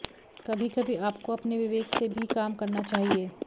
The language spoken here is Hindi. कभी कभी आपको अपने विवेक से भी काम करना चाहिए